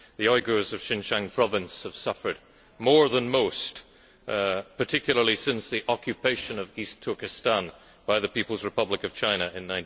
The Uighurs of Xinjiang Province have suffered more than most, particularly since the occupation of East Turkestan by the People's Republic of China in